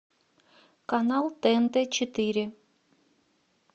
канал тнт четыре